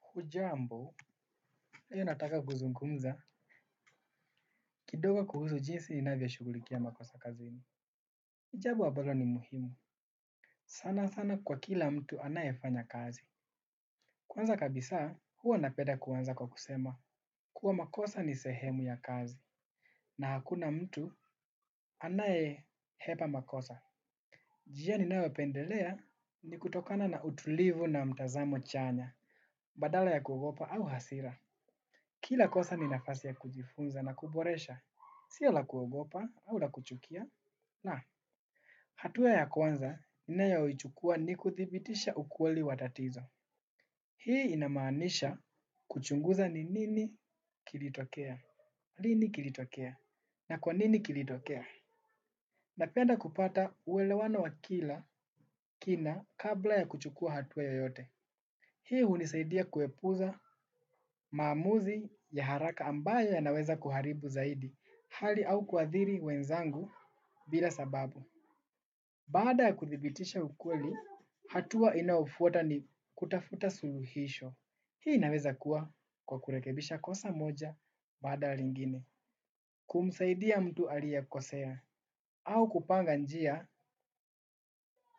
Hujambo, leo nataka kuzungumza. Kidogo kuhusu jinsi ninavyoshugulikia makosa kazini. Ni jambo ambalo ni muhimu. Sanasana kwa kila mtu anayefanya kazi. Kwanza kabisa, huwa napenda kuanza kwa kusema. Kuwa makosa ni sehemu ya kazi. Na hakuna mtu anae hepa makosa. Njia ninayopendelea ni kutokana na utulivu na mtazamo chanya. Badala ya kuogopa au hasira. Kila kosa ni nafasi ya kujifunza na kuboresha. Sio la kuogopa au la kuchukia. Na, hatua ya kwanza ninayoichukua ni kudhibitisha ukweli wa tatizo. Hii inamaanisha kuchunguza ni nini kilitokea, lini kilitokea, na kwa nini kilitokea. Napenda kupata uwelewano wa kila kina kabla ya kuchukua hatua yoyote. Hii hunisaidia kuepuza maamuzi ya haraka ambayo yanaweza kuharibu zaidi. Hali au kuathiri wenzangu bila sababu. Baada ya kuthibitisha ukweli, hatua inayofuata ni kutafuta suluhisho. Hii inaweza kuwa kwa kurekebisha kosa moja baada ya lingine. Kumsaidia mtu aliyekosea au kupanga njia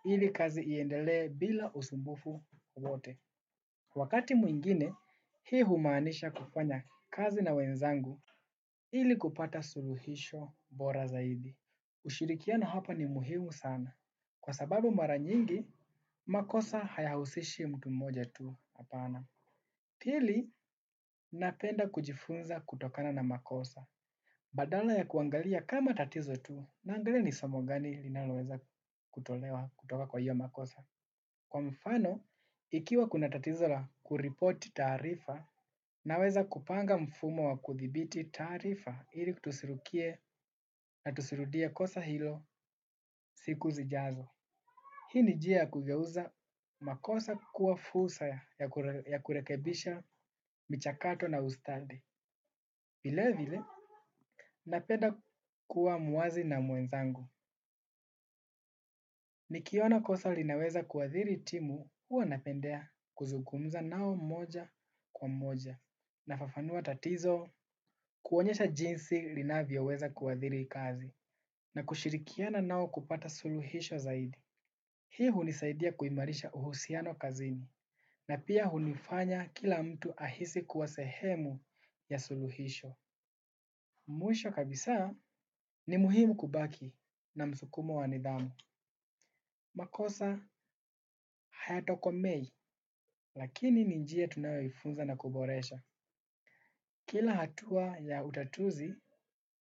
ili kazi iendelee bila usumbufu wowote. Wakati mwingine, hii humaanisha kufanya kazi na wenzangu ili kupata suluhisho bora zaidi. Ushirikiano hapa ni muhimu sana. Kwa sababu mara nyingi, makosa hayahusishi mtu mmoja tu hapana. Pili, napenda kujifunza kutokana na makosa. Badala ya kuangalia kama tatizo tu, naangalia ni somo gani linaloweza kutolewa kutoka kwa hiyo makosa. Kwa mfano, ikiwa kuna tatizo la kuripoti taarifa, naweza kupanga mfumo wa kuthibiti taarifa ili tusirukie na tusirudie kosa hilo siku zijazo. Hii ni njia ya kugeuza makosa kuwa fursa ya kurekebisha michakato na ustadi. Vile vile, napenda kuwa muwazi na mwenzangu. Nikiona kosa linaweza kuathiri timu huwa napendea kuzungmza nao moja kwa moja. Nafafanua tatizo kuonyesha jinsi linavyoweza kuadhiri kazi na kushirikiana nao kupata suluhisho zaidi. Hii hunisaidia kuimarisha uhusiano kazini na pia hunifanya kila mtu ahisi kuwa sehemu ya suluhisho. Mwisho kabisa ni muhimu kubaki na msukumo wa nidhamu. Makosa hayatokomei lakini ni njia tunayoifunza na kuboresha. Kila hatua ya utatuzi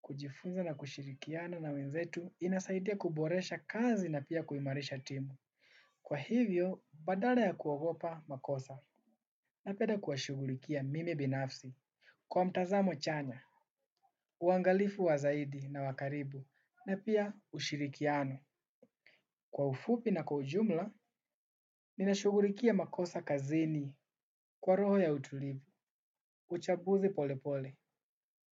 kujifunza na kushirikiana na wenzetu inasaidia kuboresha kazi na pia kuimarisha timu. Kwa hivyo, badala ya kuogopa makosa napenda kuwashughulikia mimi binafsi. Kwa mtazamo chanya, uangalifu wa zaidi na wa karibu na pia ushirikiano. Kwa ufupi na kwa ujumla ninashughulikia makosa kazini kwa roho ya utulivu. Uchambuzi polepole,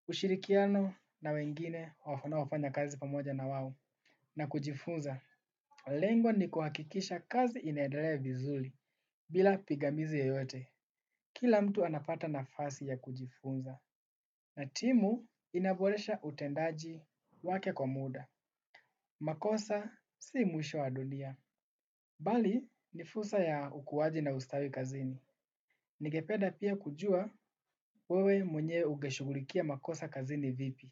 ushirikiano na wengine wanaofanya kazi pamoja na wao, na kujifunza. Lengo ni kuhakikisha kazi inaendelea vizuri, bila pingamizi yoyote. Kila mtu anapata nafasi ya kujifunza na timu inaboresha utendaji wake kwa muda. Makosa, si mwisho wa dunia. Bali, ni fursa ya ukuwaji na ustawi kazini. Ningepeda pia kujua wewe mwenye ungeshughulikia makosa kazini vipi.